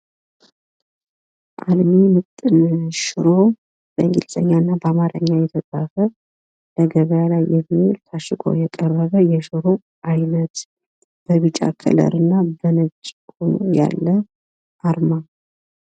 አልሚ ምጥን ሽሮ በእንግሊዘኛ እና በአማረኛ የተጻፈ ለገበያ ላይ የሚዉል ታሽጎ የቀረበ የሽሮ አይነት በቢጫ ቀለም እና በነጭ ሁኖ ያለ አርማ አለው።